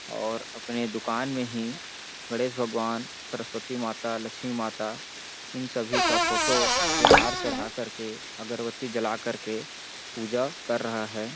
और अपने दुकान में ही गणेश भगवान सरस्वती माता लक्ष्मी माता इन सभी का फोटो पे हार चढ़ा करके अगरबत्ती जला कर के पूजा कर रहा है।